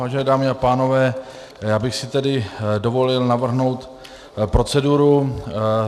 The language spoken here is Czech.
Vážené dámy a pánové, já bych si tedy dovolil navrhnout proceduru.